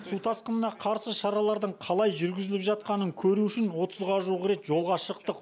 су тасқынына қарсы шаралардың қалай жүргізіліп жатқанын көру үшін отызға жуық рет жолға шықтық